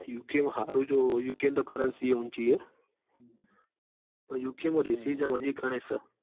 UK માં હારું જો યુકે માતો કરાંચી એ ઊંચી હ. પણ યુકે માં રેસિઝમ હજુ ગણી સ.